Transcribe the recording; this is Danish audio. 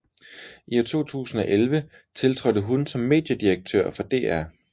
I 2011 tiltrådte hun som mediedirektør for DR